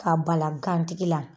Ka bala gan tigi la.